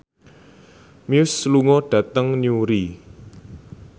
Muse lunga dhateng Newry